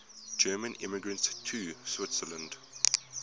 german immigrants to switzerland